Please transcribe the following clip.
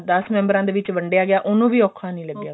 ਤਾਂ ਦਸ member ਆ ਵਿੱਚ ਵੰਡਿਆ ਗਿਆ ਉਹਨੂੰ ਵੀ ਔਖਾ ਨਹੀਂ ਲਗਿਆ